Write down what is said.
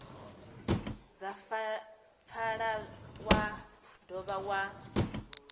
dza pfala wa dovha wa